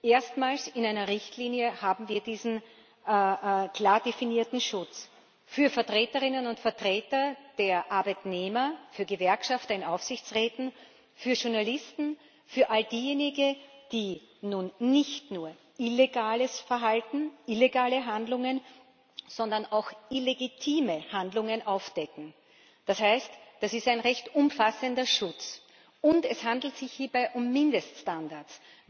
Erstmals in einer Richtlinie haben wir diesen klar definierten Schutz für Vertreterinnen und Vertreter der Arbeitnehmer, für Gewerkschafter in Aufsichtsräten, für Journalisten, für all diejenigen, die nun nicht nur illegales Verhalten, illegale Handlungen, sondern auch illegitime Handlungen aufdecken. Das heißt Das ist ein recht umfassender Schutz, und es handelt sich hierbei um Mindeststandards.